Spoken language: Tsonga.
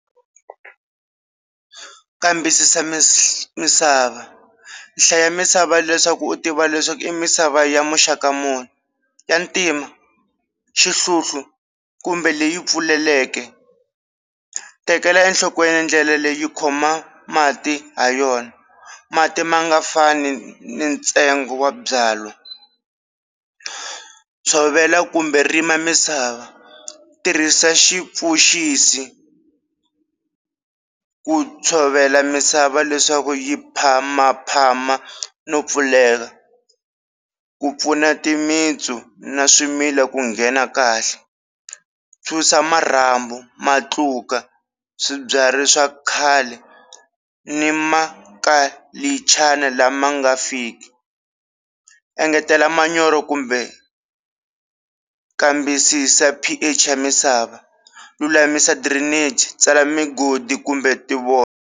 Kambisisa misava, hlaya misava leswaku u tiva leswaku i misava ya muxaka muni ya ntima, xihluhlu kumbe leyi pfuleleke, tekela enhlokweni ndlela leyi yi khoma mati ha yona mati ma nga fani ni ntsengo wa byalwa, tshovela kumbe rima misava, tirhisa xipfuxisi ku tshovela misava leswaku yi phamaphama no pfuleka ku pfuna timitsu na swimila ku nghena kahle, susa marhambu, matluka, swibyari swa khale ni ma kalichana lama nga fiki, engetela manyoro kumbe kambisisa P_H ya misava, lulamisa drainage tsala migodi kumbe ti .